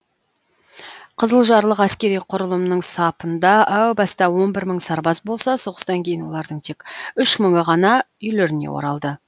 қызылжарлық әскери құрылымның сапында әу баста он бір мың сарбаз болса соғыстан кейін олардың тек үш мыңы ғана үйлеріне оралды